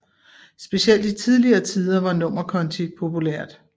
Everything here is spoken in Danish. Specielt i tidligere tider var nummerkonti populært